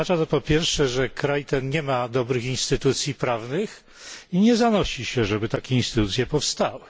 Po pierwsze, że kraj ten nie ma dobrych instytucji prawnych i nie zanosi się, żeby takie instytucje powstały.